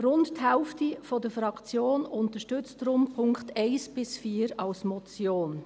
Rund die Hälfte der Fraktion unterstützt deshalb die Punkte 1 bis 4 als Motion.